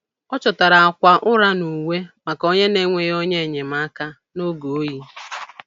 Ọ chọtara akwa ụra na uwe maka onye na-enweghị onye enyemaka n'oge oyi.